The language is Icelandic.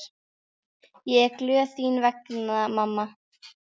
Ég er glöð þín vegna mamma.